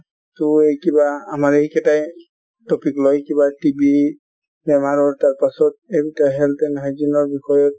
টো কিবা আমাৰ এইকেইটাই topic লৈ কিবা TBInitial বেমাৰৰ , তাৰ পাছত এনেকুৱা health and hygiene ৰ বিষয়ে ,